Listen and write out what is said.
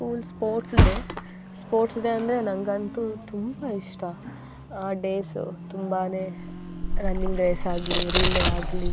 School sports day sports day ಅಂದ್ರೆ ನನ್ಗಂತು ತುಂಬ ಇಷ್ಟ. ಆ ಡೇಯ್ಸ್ ತುಂಬಾನೇ ರನ್ನಿಂಗ್ ಡೇಸ್ ಆಗಿ ರಿಲೇ ಆಗಿ --